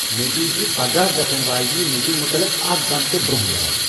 مے دِیٖزِ پگہہ گژھن واجنِہ میٹینگ مُطلق اکھ گنٹہٕ برونٛہہ یاد۔